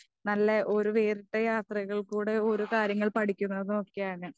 നല്ല ഒരു വേറിട്ട യാത്രകളും കൂടെ ഓരോ കാര്യങ്ങൾ പടിക്കുന്നതുമൊക്കെയാണ്.